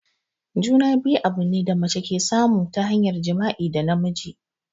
Juna-biyu abune da mace ke samu ta hanyar jima'i da namiji.